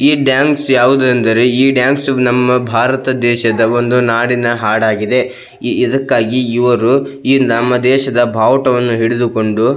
ಈ ಬ್ಯಾಂಕ್ಸ್ ಯಾವುದು ಎಂದರೆ ಈ ಬ್ಯಾಂಕ್ಸ್ ನಮ್ಮ ಬಾರತ ದೇಶದ ಒಂದು ನಾಡಿನ ಹಾಡಾಗಿದೆ ಇದಕ್ಕಾಗಿ ಇವರು ಈ ನಮ್ಮ ದೇಶದ ಬಾವುಟವನ್ನು ಹಿಡಿದುಕೊಂಡು --